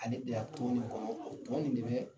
Ale de ya tɔn nin kɔnɔ ko. Tɔn nin de bɛɛ